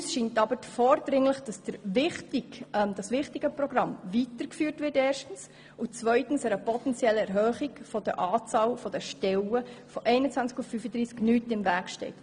Uns erscheint aber vordringlich, dass dieses wichtige Programm erstens weitergeführt wird und zweitens einer potenziellen Erhöhung der Stellenzahl von 21 auf 35 nichts im Wege steht.